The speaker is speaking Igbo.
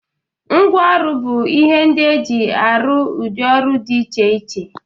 Ngwa ọrụ bụ ihe ndị e ji arụ ụdị ọrụ dị iche iche